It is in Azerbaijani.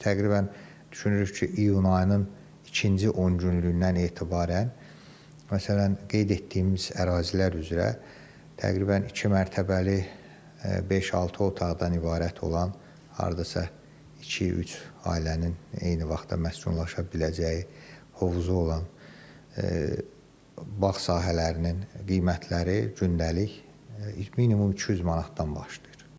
Biz təqribən düşünürük ki, iyun ayının ikinci 10 günlükdən etibarən, məsələn, qeyd etdiyimiz ərazilər üzrə təqribən iki mərtəbəli, beş-altı otaqdan ibarət olan, hardasa iki-üç ailənin eyni vaxtda məskunlaşa biləcəyi hovuzu olan bağ sahələrinin qiymətləri gündəlik minimum 200 manatdan başlayır.